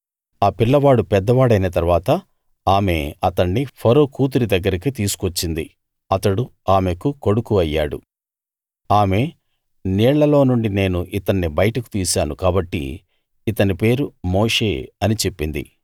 ఆ పిల్లవాడు పెద్దవాడైన తరువాత ఆమె అతణ్ణి ఫరో కూతురి దగ్గరికి తీసుకు వచ్చింది అతడు ఆమెకు కొడుకు అయ్యాడు ఆమె నీళ్ళలో నుండి నేను ఇతన్ని బయటకు తీశాను కాబట్టి ఇతని పేరు మోషే అని చెప్పింది